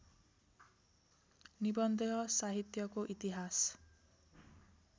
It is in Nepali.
निबन्ध साहित्यको इतिहास